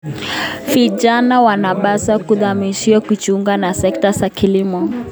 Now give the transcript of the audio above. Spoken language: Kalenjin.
Vijana wanapaswa kuhamasishwa kujiunga na sekta ya kilimo.